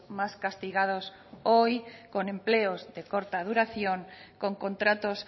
más castigados hoy con empleos de corta duración con contratos